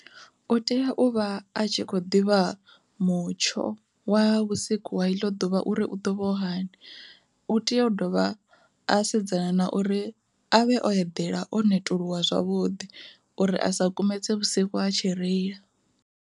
U tea u vha a tshi kho ḓivha mutsho wa vhusiku wa iḽo ḓuvha uri u ḓo vha hani, u tea u dovha a sedzana na uri avhe o eḓela o netuluwa zwavhuḓi uri a sa kumedze vhusiku a tshi reila.